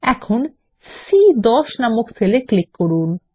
এখন সি10 নামক সেল এ ক্লিক করুন